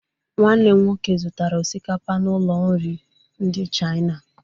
Nwanne m nwoke zụtara osikapa n'ụlọ nri ndị Chaina